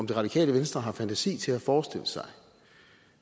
det radikale venstre fantasi til at forestille sig